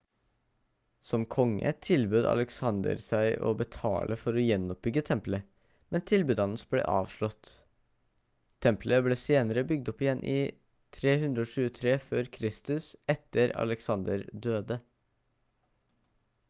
som konge tilbød alexander seg å betale for å gjenoppbygge tempelet men tilbudet hans ble avslått tempelet ble senere bygd opp igjen i 323 f.kr etter at alexander døde